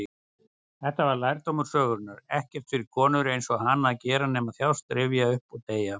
Þetta var lærdómur sögunnar: ekkert fyrir konur-einsog-hana að gera nema þjást, rifja upp, og deyja.